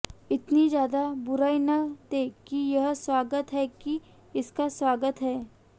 इतनी ज्यादा बुराई न दें कि यह स्वागत है कि इसका स्वागत है